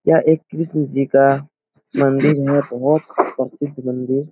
यह एक कृष्ण जी का मंदिर है बहुत प्रसिद्ध मंदिर।